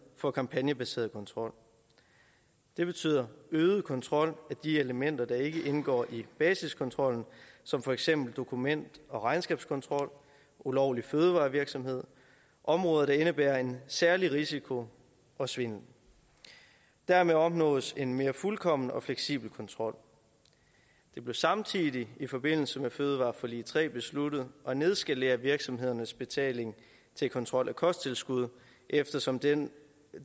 for kampagnebaseret kontrol det betyder øget kontrol af de elementer der ikke indgår i basiskontrollen som for eksempel dokument og regnskabskontrol og ulovlig fødevarevirksomhed områder der indebærer en særlig risiko for svindel dermed opnås en mere fuldkommen og fleksibel kontrol det blev samtidig i forbindelse med fødevareforlig tre besluttet at nedskalere virksomhedernes betaling til kontrol af kosttilskud eftersom denne